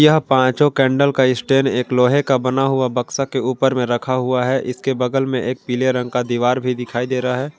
यह पांचों कैंडल का स्टैंड एक लोहे का बना हुआ बक्शा के ऊपर में रखा हुआ है इसके बगल में एक पीले रंग का दीवार भी दिखाई दे रहा है।